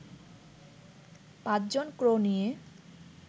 ৫ জন ক্রু নিয়ে